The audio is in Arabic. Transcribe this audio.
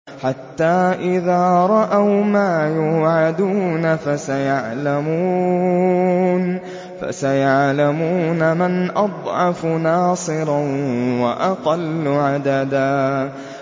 حَتَّىٰ إِذَا رَأَوْا مَا يُوعَدُونَ فَسَيَعْلَمُونَ مَنْ أَضْعَفُ نَاصِرًا وَأَقَلُّ عَدَدًا